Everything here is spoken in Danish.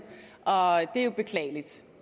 og det er jo beklageligt